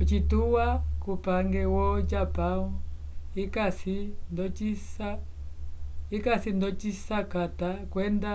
ocituwa cupange wo-japão ikasi ndosikata kwenda